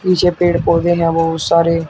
पीछे पेड़ पौधे हैं बहुत सारे।